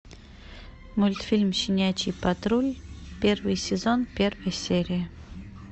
мультфильм щенячий патруль первый сезон первая серия